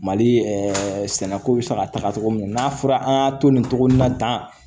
Mali sɛnɛko bɛ se ka taga cogo min na n'a fɔra an y'a to nin cogo in na tan